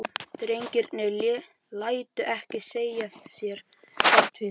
Drengirnir létu ekki segja sér það tvisvar.